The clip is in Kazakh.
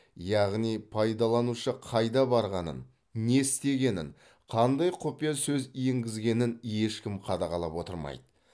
яғни пайдаланушы қайда барғанын не істегенін қандай құпия сөз енгізгенін ешкі қадағалап отырмайды